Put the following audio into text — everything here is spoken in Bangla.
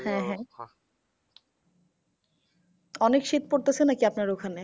হ্যাঁ হ্যাঁ অনেক শীত পড়তেসে নাকি আপনার ওখানে?